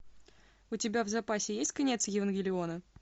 у тебя в запасе есть конец евангелиона